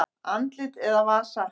Andlit eða vasa?